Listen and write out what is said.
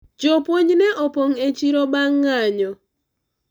jopuonj ne opong' e chiro bang' ng'anyo